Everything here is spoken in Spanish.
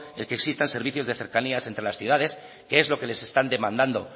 el que existan servicios de cercanías entre las ciudades que es lo que les están demandando